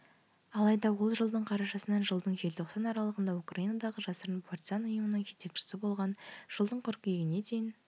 алайда ол жылдың қарашасынан жылдың желтоқсан аралығында украинадағы жасырын партизан ұйымының жетекшісі болғанын жылдың қыркүйегіне дейін